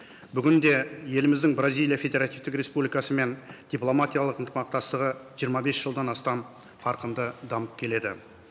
бүгін де еліміздің бразилия федеративтік республикасымен дипломатиялық ынтымақтастығы жиырма бес жылдан астам қарқынды дамып келеді